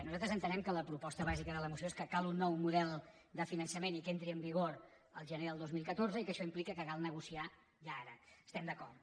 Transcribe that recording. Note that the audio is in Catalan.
nosaltres entenem que la proposta bàsica de la moció és que cal un nou model de finançament i que entri en vigor el gener del dos mil catorze i que això implica que cal negociar ja ara hi estem d’acord